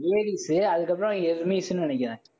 Hades அதுக்கப்புறம் எஷ்மிஸ்ஸு னு நினைக்கிறேன்.